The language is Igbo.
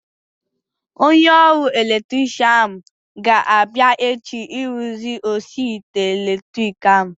Onye ọrụ elektrikshan ahu ga-abịa echi ịrụzi osi ite elektriki ahu